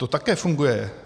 To také funguje.